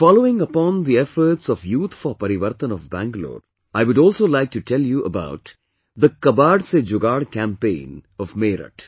Following upon the efforts of Youth For Parivartan of Bangalore, I would also like to tell you about the 'Kabaad se Jugaad' campaign of Meerut